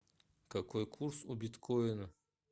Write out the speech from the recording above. какой курс у биткоина